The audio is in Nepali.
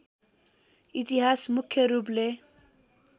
इतिहास मुख्य रूपले